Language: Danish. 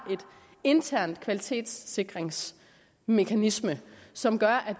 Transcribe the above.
intern kvalitetssikringsmekanisme som gør